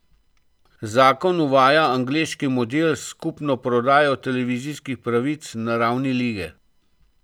Zakon uvaja angleški model s skupno prodajo televizijskih pravic na ravni lige.